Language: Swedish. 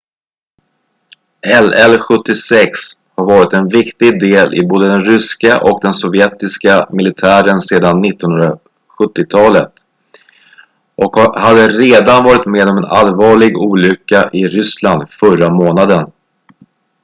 il-76 har varit en viktig del i både den ryska och den sovjetiska militären sedan 1970-talet och hade redan varit med om en allvarlig olycka i ryssland förra månaden